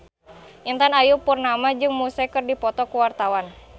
Intan Ayu Purnama jeung Muse keur dipoto ku wartawan